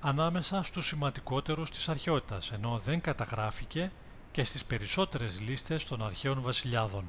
ανάμεσα στους σημαντικότερους της αρχαιότητας ενώ δεν καταγράφηκε και στις περισσότερες λίστες των αρχαίων βασιλιάδων